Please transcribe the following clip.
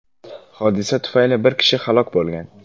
Hodisa tufayli bir kishi halok bo‘lgan.